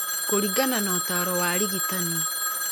kũringana na ũtaaro wa arigitani.